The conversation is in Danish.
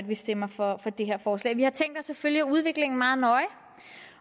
vi stemmer for det her forslag vi har tænkt os at følge udviklingen meget nøje